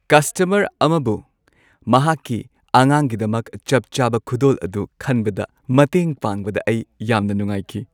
Customer ꯑꯃꯕꯨ ꯃꯍꯥꯛꯀꯤ ꯑꯉꯥꯡꯒꯤꯗꯃꯛ ꯆꯞ ꯆꯥꯕ ꯈꯨꯗꯣꯜ ꯑꯗꯨ ꯈꯟꯕꯗ ꯃꯇꯦꯡ ꯄꯥꯡꯕꯗ ꯑꯩ ꯌꯥꯝꯅ ꯅꯨꯡꯉꯥꯏꯈꯤ꯫